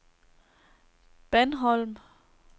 Bandholm